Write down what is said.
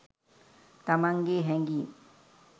තමන්ගේ හැඟීම්